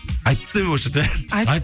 айтып тастайын ба осы жерде айт